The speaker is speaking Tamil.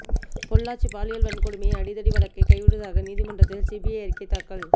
பொள்ளாச்சி பாலியல் வன்கொடுமை அடிதடி வழக்கை கைவிடுவதாக நீதிமன்றத்தில் சிபிஐ அறிக்கை தாக்கல்